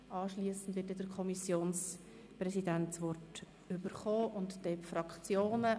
Anschliessend hat der Kommissionspräsident das Wort und danach die Fraktionen.